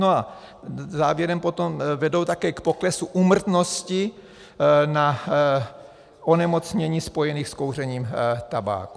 No a závěrem potom vedou také k poklesu úmrtnosti na onemocnění spojená s kouřením tabáku.